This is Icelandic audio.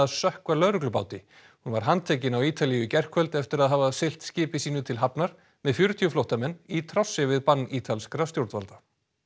sökkva hún var handtekin á Ítalíu í gærkvöld eftir að hafa siglt skipi sínu til hafnar með fjörutíu flóttamenn í trássi við bann ítalskra stjórnvalda